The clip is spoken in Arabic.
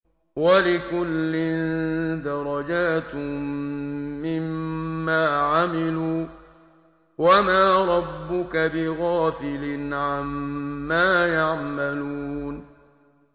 وَلِكُلٍّ دَرَجَاتٌ مِّمَّا عَمِلُوا ۚ وَمَا رَبُّكَ بِغَافِلٍ عَمَّا يَعْمَلُونَ